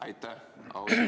Aitäh!